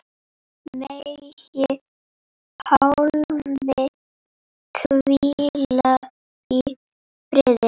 Megi Pálmi hvíla í friði.